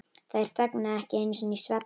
Þær þögnuðu ekki einu sinni í svefni.